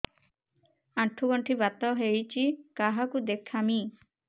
ଆଣ୍ଠୁ ଗଣ୍ଠି ବାତ ହେଇଚି କାହାକୁ ଦେଖାମି